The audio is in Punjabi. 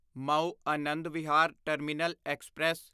Mao Anand Vihar terminal express